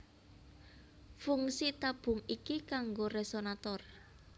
Fungsi tabung iki kanggo resonator